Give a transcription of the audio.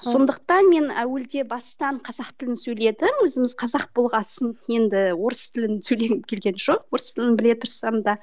сондықтан мен әуелде бастан қазақ тілін сөйледім өзіміз қазақ болғасын енді орыс тілін сөйлегім келген жоқ орыс тілін біле тұрсам да